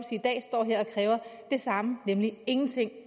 i dag står her og kræver det samme nemlig ingenting